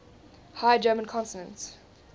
high german consonant